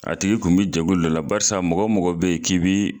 A tigi kun bi jɛkulu dɔ la, barisa mɔgɔ mɔgɔ be yen k'i bi